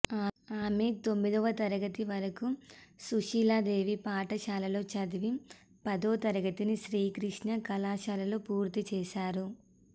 ఆమె తొమ్మిదో తరగతి వరకు సుశీలాదేవి పాఠశాలలో చదివి పదో తరగతిని శ్రీకృష్ణ కళాశాలలో పూర్తి చేశారు